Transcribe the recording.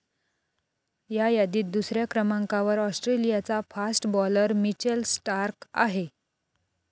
या यादीत दुसऱ्या क्रमांकावर ऑस्ट्रेलियाचा फास्ट बॉलर मिचेल स्टार्क आहे.